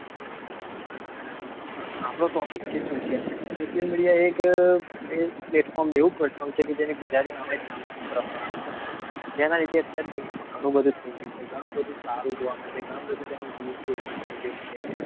આપણે topicsocial mediasocial mediaplatformplatform છે જેને આપડે ગુજરાતી આપડે સામાજિક પ્રકરણ કહીએ છીએ તેના વિશે અત્યારે ઘણું બધું સારું જોવા મળ્યું ઘણું બધો તેનો દૂર ઉપયોગ કરશે.